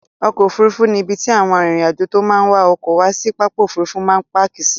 Ọkọ̀ Òfurufú ni ibi tí àwọn arìnrìn-àjò tó máa ń wa ọkọ̀ wá sí pápá Òfurufú máa ń páàkì sí.